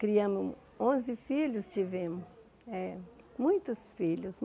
Criamos onze filhos, tivemos eh muitos filhos.